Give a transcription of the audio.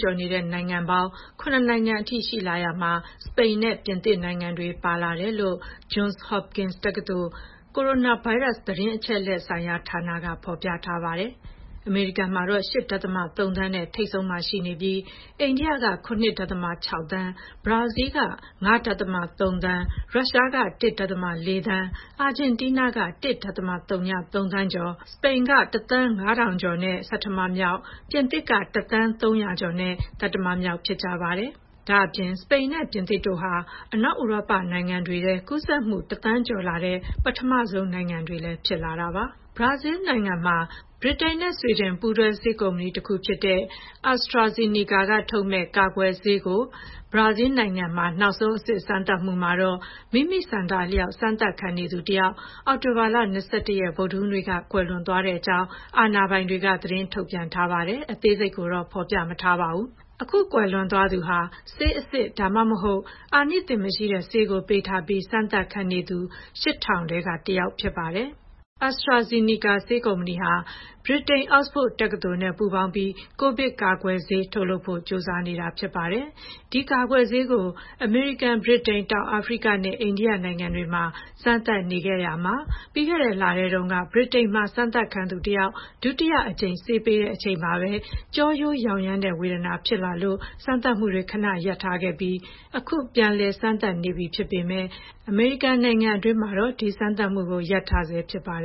ကျော်တဲ့နိုင်ငံပေါင်း ၇ နိုင်ငံအထိ ရှိလာရာမှာ စပိန်နဲ့ ပြင်သစ်နိုင်ငံတွေ ပါလာတယ်လို့ Johns Hopkins တက္ကသိုလ်၊ ကိုရိုနာဗိုင်းရပ်စ် သတင်းအချက်အလက်ဆိုင်ရာဌာနက ဖော်ပြထားပါတယ်။ အမေရိကန်ကတော့ ၈.၃ သန်းနဲ့ ထိပ်ဆုံးမှာ ရှိနေပြီး အိန္ဒိယက ၇.၆ သန်း၊ ဘရာဇီးလ် ၅.၃ သန်း၊ ရုရှား ၁.၄ သန်း၊ အာဂျင်တီးနားက ၁.၀၃ သန်းကျော်၊ စပိန်က ၁ သန်း ၅ ထောင်ကျော်နဲ့ဆဌမမြောက်၊ ပြင်သစ်က ၁,၀၀၀,၃၀၀ ကျော်နဲ့ သတ္တမမြောက်ဖြစ်ကြပါတယ်။ ဒါ့အပြင် စပိန်နဲ့ ပြင်သစ်တို့ဟာ အနောက်ဥရောပနိုင်ငံတွေထဲ ကူးစက်မှု ၁,၀၀၀,၀၀၀ ကျော်လာတဲ့ ပထမဆုံးနိုင်ငံတွေလည်း ဖြစ်လာတာပါ။ ဘရာဇီးလ်နိုင်ငံမှာ ဗြိတိန်နဲ့ ဆွီဒင် ပူးတွဲဆေးကုမ္ပဏီဖြစ်တဲ့ AstraZeneca ကထုတ်မယ့် ကာကွယ်ဆေး နောက်ဆုံးအဆင့် စမ်းသပ်မှုမှာ မိမိ ဆန္ဒအလျှောက် ဆေးစမ်းသပ်ခံနေသူတယောက် အောက်တိုဘာ ၂၁ ရက် ဗုဒ္ဓဟူးနေ့က ကွယ်လွန်သွားကြောင်း အာဏာပိုင်တွေက သတင်းထုတ်ပြန်ပေမဲ့ အသေးစိတ်ကိုတော့ ဖော်ပြမထားပါဘူး။ အခု ကွယ်လွန်သွားသူဟာ ဆေးအစစ်၊ ဒါမှမဟုတ် အာနိသင်မရှိတဲ့ ဆေးကိုပေးထားပြီး စမ်းသပ်ခံနေသူ ၈,၀၀၀ ထဲက တယောက်ဖြစ်ပါတယ်။ AstraZeneca ဆေးကုမ္ပဏီဟာ ဗြိတိန် အောက်စ်ဖို့ တက္ကသိုလ်နဲ့ ပူးပေါင်းပြီး ကိုဗစ်ကာကွယ်ဆေးထုတ်လုပ်ဖို့ ကြိုးစားနေတာပါ။ ဒီကာကွယ်ဆေးကို အမေရိကန်၊ ဗြိတိန်၊ တောင်အာဖရိကနဲ့ အိန္ဒိယနိုင်ငံတွေမှာ စမ်းသပ်မှုတွေလုပ်နေရာက ပြီးခဲ့တဲ့လထဲတုန်းက ဗြိတိန်မှာ စမ်းသပ်ခံသူတယောက် ဒုတိယအကြိမ် ဆေးပေးချိန် ကျောရိုးယောင်ယမ်းတဲ့ဝေဒနာဖြစ်လာလို့ စမ်းသပ်မှုတွေ ခဏ ရပ်ထားခဲ့ပြီး အခု ပြန်လည်စမ်းသပ်နေပေမဲ့ အမေရိကန်နိုင်ငံတွင်းမှာတော့ ဒီစမ်းသပ်မှုကို ရပ်ထားဆဲဖြစ်ပါတယ်။